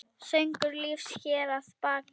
Söngur lífs hér að baki.